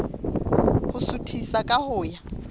ho suthisa ka ho ya